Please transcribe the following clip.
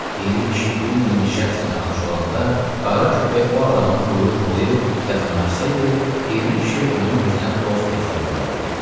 Piri kişi bir yeni şəxslə tanış olanda, qara köpək o adama quyruq bulayıb yaxınlaşsaydı, Piri kişi onu özünə dost hesab eləyərdi.